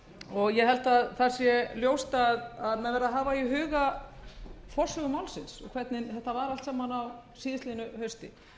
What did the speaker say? og ég held að það sé ljóst að menn verða að hafa í huga forsögu málsins og hvernig þetta var allt saman á síðastliðnu hausti